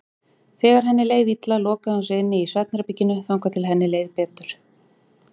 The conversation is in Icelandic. Þegar henni leið illa lokaði hún sig inni í svefnherberginu þangað til henni leið betur.